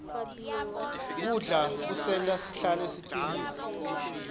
kudla kusenta sihlale sicinile